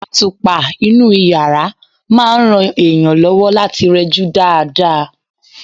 Àtùpà inú yàrá máa ń ran èèyàn lọ́wọ́ láti rẹjú dáadáa.